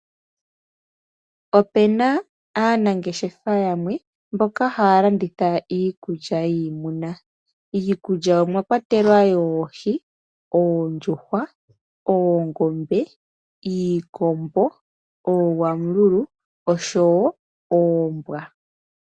Opuna aanangeshefa yamwe mboka mboka haya landitha iikulya yiimuna. Iikulya omwa kwatelwa yoohi, oondjuhwa, oongombe, iikombo, oogwangulu noombwa.